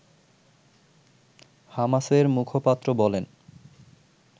হামাসের মুখপাত্র বলেন